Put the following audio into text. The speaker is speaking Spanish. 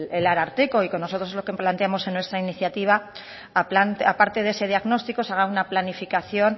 el ararteko y que nosotros lo que planteamos en nuestra iniciativa aparte de ese diagnóstico se haga una planificación